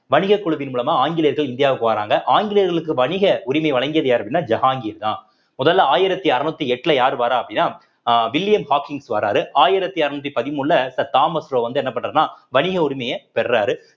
வணிக குழுவின் மூலமா ஆங்கிலேயர்கள் இந்தியாவுக்கு வராங்க ஆங்கிலேயர்களுக்கு வணிக உரிமை வழங்கியது யார் அப்படின்னா ஜஹாங்கீர்தான் முதல்ல ஆயிரத்தி அறநூத்தி எட்டுல யாரு வர்றா அப்படின்னா அஹ் வில்லியம் ஹாக்கிங்ஸ் வர்றாரு ஆயிரத்தி அறுநூத்தி பதிமூணுல தாமஸ் வந்து என்ன பண்றாருன்னா வணிக உரிமையை பெர்றாரு